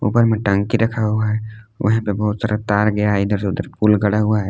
ऊपर मे टंकी रखा हुआ है वही पे बहुत सारा तार गया हुआ है इधर उधर पूल गढ़ा हुआ है।